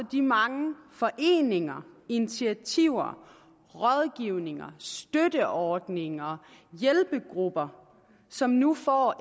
de mange foreninger initiativer rådgivninger støtteordninger hjælpegrupper som nu får